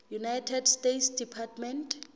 united states department